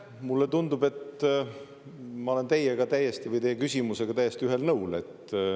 Mulle tundub, et ma olen teie küsimusega täiesti ühel nõul.